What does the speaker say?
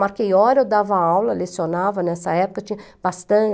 Marquei hora, eu dava aula, lecionava, nessa época tinha